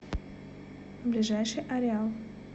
ближайший ареал